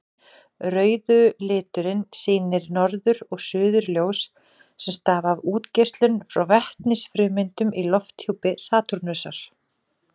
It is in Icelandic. Rauðu liturinn sýnir norður- og suðurljós sem stafa af útgeislun frá vetnisfrumeindum í lofthjúpi Satúrnusar.